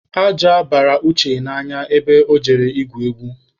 Aja bara Uche n'anya ebe ọ jere igwu egwu.